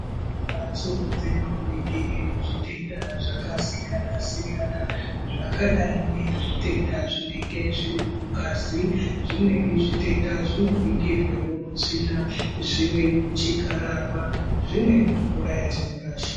Mbatso dzinonigira zvitenda zvakasiyana-siyana zvakadai ngezvitenda zvinenge zviri mungazi zvimweni zvitenda zvinoningirwawo mutsvina zvimweni muchikararwa zvimweni mumvura yatinorasha.